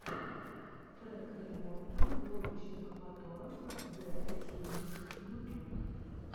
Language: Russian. трек ремонта лодочных моторов г уссурийск ютюб